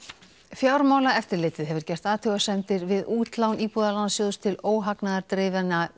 fjármálaeftirlitið hefur gert athugasemdir við útlán Íbúðalánasjóðs til